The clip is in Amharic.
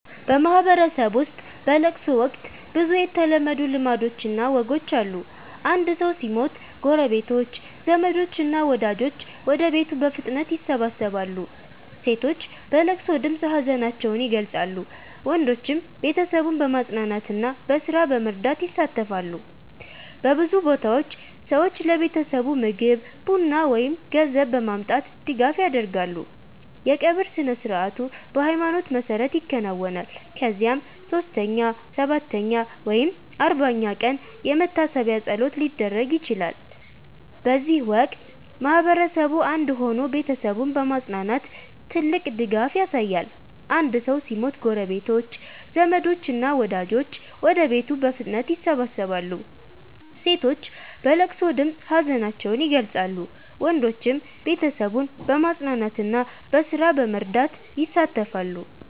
በማህበረሰብ ውስጥ በለቅሶ ወቅት ብዙ የተለመዱ ልማዶችና ወጎች አሉ። አንድ ሰው ሲሞት ጎረቤቶች፣ ዘመዶች እና ወዳጆች ወደ ቤቱ በፍጥነት ይሰበሰባሉ። ሴቶች በለቅሶ ድምፅ ሀዘናቸውን ይገልጻሉ፣ ወንዶችም ቤተሰቡን በማጽናናትና በስራ በመርዳት ይሳተፋሉ። በብዙ ቦታዎች ሰዎች ለቤተሰቡ ምግብ፣ ቡና ወይም ገንዘብ በማምጣት ድጋፍ ያደርጋሉ። የቀብር ስነ-ሥርዓቱ በሃይማኖት መሰረት ይከናወናል፣ ከዚያም 3ኛ፣ 7ኛ ወይም 40ኛ ቀን የመታሰቢያ ፀሎት ሊደረግ ይችላል። በዚህ ወቅት ማህበረሰቡ አንድ ሆኖ ቤተሰቡን በማጽናናት ትልቅ ድጋፍ ያሳያል። አንድ ሰው ሲሞት ጎረቤቶች፣ ዘመዶች እና ወዳጆች ወደ ቤቱ በፍጥነት ይሰበሰባሉ። ሴቶች በለቅሶ ድምፅ ሀዘናቸውን ይገልጻሉ፣ ወንዶችም ቤተሰቡን በማጽናናትና በስራ በመርዳት ይሳተፋሉ።